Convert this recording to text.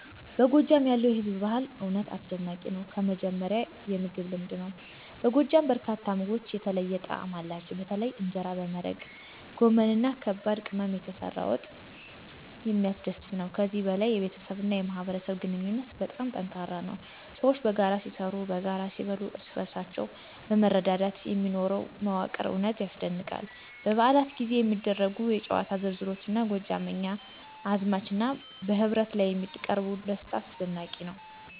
በጎጃም ያለው የህዝብ ባህል እውነት አስደናቂ ነው። ከመጀመሪያ የምግብ ልምድ ነው፤ በጎጃም በርካታ ምግቦች የተለየ ጣዕም አላቸው፣ በተለይም እንጀራ በመረቃ፣ ጎመን እና ከባድ ቅመም የተሰራ ወጥ የሚያስደስት ነው። ከዚህ በላይ የቤተሰብና የማህበረሰብ ግንኙነት በጣም ጠንካራ ነው፤ ሰዎች በጋራ ሲሰሩ፣ በጋራ ሲበሉ፣ እርስ በእርሳቸው በማረዳት የሚኖረው መዋቅር እውነት ያስደንቃል። በበዓላት ጊዜ የሚደረጉ የጨዋታ ዝርዝሮች እንደ ጎጃምኛ እዝማች እና በህብረት ላይ የሚያቀርቡት ደስታ አስደናቂ ነው።